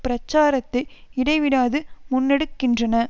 பிரச்சாரத்தை இடைவிடாது முன்னெடுக்கின்றன